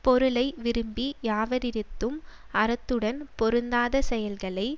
பொருளை விரும்பி யாவரிடத்தும் அறத்துடன் பொருந்தாத செயல்களை